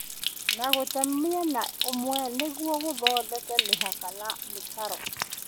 na gũte mwena ũmwe nĩguo gũthondeka mĩhaka na mĩtaro